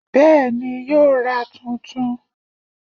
Bẹ́ẹ̀ni, yóò ra tuntun